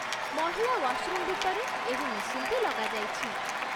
ମହିଳା ୱାଶରୁମ୍ ଭିତରେ ଏହି ମେସିନ୍‌ଟି ଲଗାଯାଇଛି।